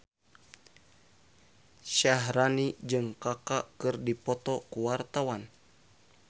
Syaharani jeung Kaka keur dipoto ku wartawan